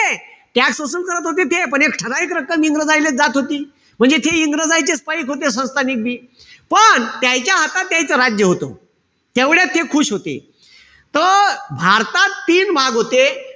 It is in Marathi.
करते होते ते, पण एक ठराविक रक्कम इंग्रजायलेच जात होती. म्हणजे ते इंग्रजायचेच पाईक होते संस्थानिक बी. पण त्याईच्या हातात त्याईच राज्य होत. तेवढ्यात ते खुश होते. त भारतात तीन भाग होते.